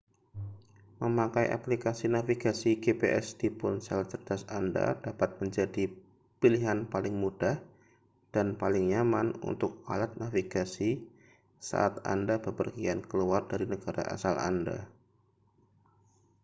memakai aplikasi navigasi gps di ponsel cerdas anda dapat menjadi pilihan paling mudah dan paling nyaman untuk alat navigasi saat anda bepergian keluar dari negara asal anda